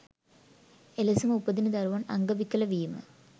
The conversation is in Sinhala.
එලෙසම උපදින දරුවන් අංගවිකල වීම